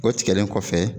O tigɛlen kɔfɛ